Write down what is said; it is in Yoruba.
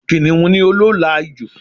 Kìniún ni olóòlà ijù